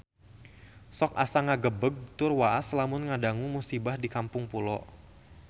Sok asa ngagebeg tur waas lamun ngadangu musibah di Kampung Pulo